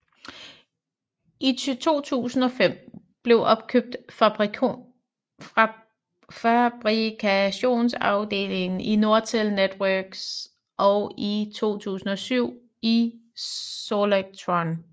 I 2005 blev opkøbt fabrikationsafdelingen i Nortel networks og i 2007 i Solectron